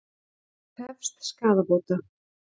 Hann krefst skaðabóta